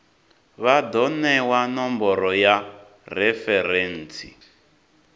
vha do newa nomboro ya referentsi